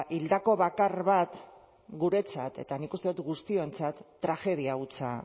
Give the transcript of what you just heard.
hildako bakar bat guretzat eta nik uste dut guztiontzat tragedia hutsa